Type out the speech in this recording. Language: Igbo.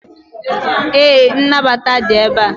ee, nnabata dị ebe a